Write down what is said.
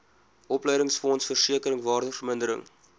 opleidingsfonds versekering waardevermindering